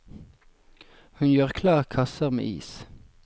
Hun gjør klar kasser med is.